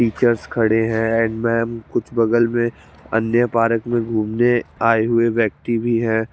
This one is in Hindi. टीचर्स खड़े है एंड में कुछ बगल में बन्दे परक में गुमने आये हुए है व्यक्ति भी है।